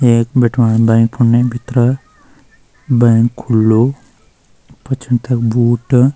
एक बिठवान बैंक फुने भितरा बैंक खुलू पुछन तख बूट।